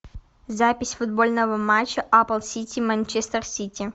запись футбольного матча апл сити манчестер сити